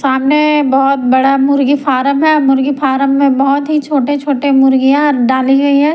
सामने बहुत बड़ा मुर्गी फार्म है मुर्गी फार्म में बहुत ही छोटे-छोटे मुर्गियां डाली गई है।